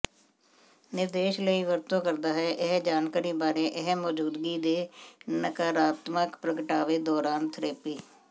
ਨਿਰਦੇਸ਼ ਲਈ ਵਰਤੋ ਕਰਦਾ ਹੈ ਇਹ ਜਾਣਕਾਰੀ ਬਾਰੇ ਇਹ ਮੌਜੂਦਗੀ ਦੇ ਨਕਾਰਾਤਮਕ ਪ੍ਰਗਟਾਵੇ ਦੌਰਾਨ ਥੈਰੇਪੀ